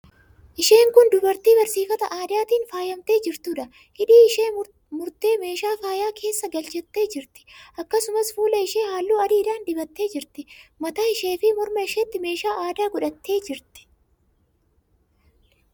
Isheen kun dubartii barsiifata aadaatiin faayamtee jirtuudha. Hidhii ishee murtee meeshaa faayaa keessa galchattee jirti. Akkasumas, fuula ishee halluu adiidhaan dibattee jirti. Mataa isheefi morma isheetti meeshaa aadaa godhattee jirti.